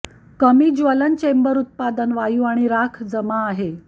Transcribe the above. कमी ज्वलन चेंबर उत्पादन वायू आणि राख जमा आहे